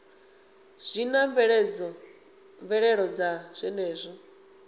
zwi na mvelelo dza zwenezwo